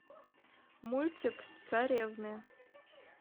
мультик царевны